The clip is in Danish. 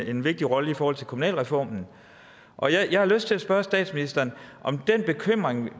en vigtig rolle i forhold til kommunalreformen jeg har lyst til at spørge statsministeren om den bekymring